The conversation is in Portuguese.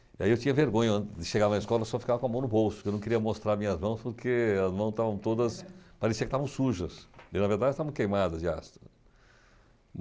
E aí eu tinha vergonha, antes de chegar na escola, eu só ficava com a mão no bolso, porque eu não queria mostrar minhas mãos, porque as mãos estavam todas, parecia que estavam sujas, e na verdade estavam queimadas de ácido.